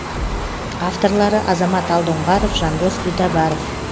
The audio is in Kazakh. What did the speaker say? авторлары азамат алдоңғаров жандос битабаров